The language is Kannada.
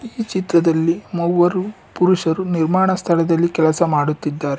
ಇದರಲ್ಲಿ ಮೂವರು ಪುರುಷರು ನಿರ್ಮಾಣ ಸ್ಥಳದಲ್ಲಿ ಕೆಲಸ ಮಾಡುತ್ತಿದ್ದಾರೆ.